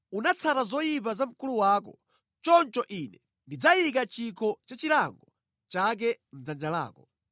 Unatsata zochita za mkulu wako; choncho Ine ndidzayika chikho cha chilango chake mʼdzanja lako.